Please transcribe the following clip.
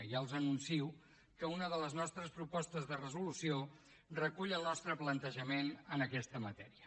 ja els anuncio que una de les nostres propostes de resolució recull el nostre plantejament en aquesta matèria